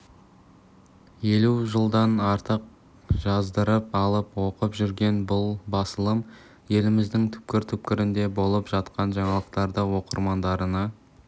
елу жылдан артық жаздырып алып оқып жүрген бұл басылым еліміздің түкпір-түкпірінде болып жатқан жаңалықтарды оқырмандарына